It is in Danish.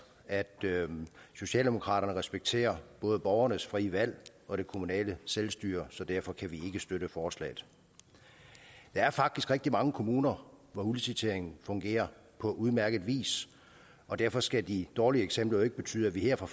at socialdemokraterne respekterer både borgernes frie valg og det kommunale selvstyre så derfor kan vi støtte forslaget der er faktisk rigtig mange kommuner hvor udliciteringen fungerer på udmærket vis og derfor skal de dårlige eksempler jo ikke betyde at vi her fra